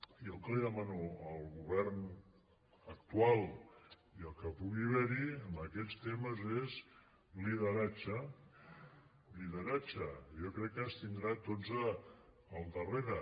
jo el que li demano al govern actual i al que pugui haver hi en aquests temes és lideratge lideratge i jo crec que ens tindrà a tots al darrere